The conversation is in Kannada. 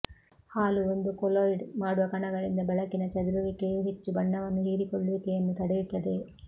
ಹಾಲು ಒಂದು ಕೊಲೊಯ್ಡ್ ಮಾಡುವ ಕಣಗಳಿಂದ ಬೆಳಕಿನ ಚದುರುವಿಕೆಯು ಹೆಚ್ಚು ಬಣ್ಣವನ್ನು ಹೀರಿಕೊಳ್ಳುವಿಕೆಯನ್ನು ತಡೆಯುತ್ತದೆ